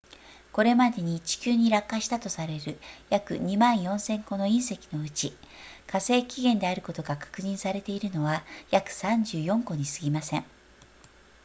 これまでに地球に落下したとされる約 24,000 個の隕石のうち火星起源であることが確認されているのは約34個にすぎません